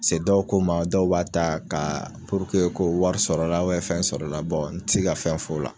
dɔw ko n ma dɔw b'a ta ka ko wari sɔrɔ la, fɛn sɔrɔ la n ti se ka fɛn fɔ la.